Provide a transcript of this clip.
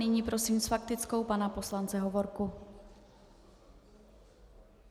Nyní prosím s faktickou pana poslance Hovorku.